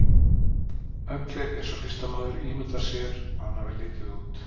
Öglir eins og listamaður ímyndar sér að hann hafi litið út.